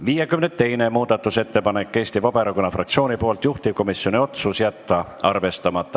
52. muudatusettepanek on Eesti Vabaerakonna fraktsioonilt, juhtivkomisjoni otsus: jätta arvestamata.